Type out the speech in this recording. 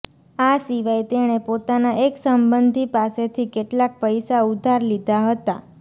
આ સિવાય તેણે પોતાના એક સંબંધી પાસેથી કેટલાક પૈસા ઉધાર લીધા હતા